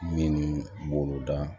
Minnu b'olu dan